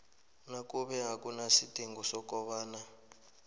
nakube akunasidingo sokobana